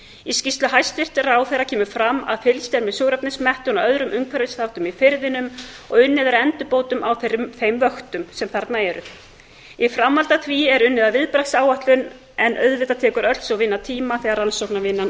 í skýrslu hæstvirts ráðherra kemur fram að fylgst er með súrefnismettun og öðrum umhverfisþáttum í firðinum og unnið er að endurbótum á þeim vöktun sem þarna eru í framhaldi af því er unnið að viðbragðsáætlun en auðvitað tekur öll sú vinna tíma þegar rannsóknarvinnan